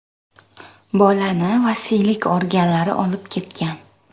Bolani vasiylik organlari olib ketgan.